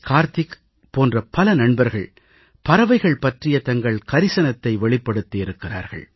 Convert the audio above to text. கார்த்திக் போன்ற பல நண்பர்கள் பறவைகள் பற்றிய தங்கள் கரிசனத்தை வெளிப்படுத்தியிருக்கிறார்கள்